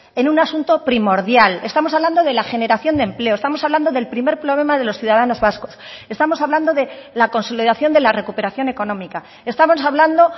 en un asunto primordial estamos hablando de la generación de empleo estamos hablando del primer problema de los ciudadanos vascos estamos hablando de la consolidación de la recuperación económica estamos hablando